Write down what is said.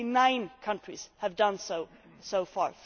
Only nine countries have done this so far.